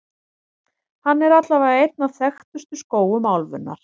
Hann er allavega einn af þekktustu skógum álfunnar.